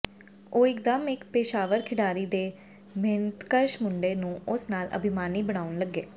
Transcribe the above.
ਉਹ ਇਕਦਮ ਇਕ ਪੇਸ਼ਾਵਰ ਖਿਡਾਰੀ ਦੇ ਮਿਹਨਤਕਸ਼ ਮੁੰਡੇ ਨੂੰ ਉਸ ਨਾਲ ਅਭਿਮਾਨੀ ਬਣਾਉਣ ਲੱਗੇ